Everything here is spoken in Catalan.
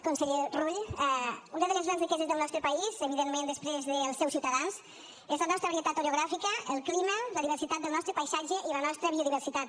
conseller rull una de les grans riqueses del nostre país evidentment després dels seus ciutadans és la nostra varietat orogràfica el clima la diversitat del nostre paisatge i la nostra biodiversitat